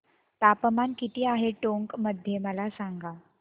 तापमान किती आहे टोंक मध्ये मला सांगा